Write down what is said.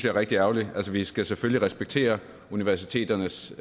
er rigtig ærgerligt altså vi skal selvfølgelig respektere universiteternes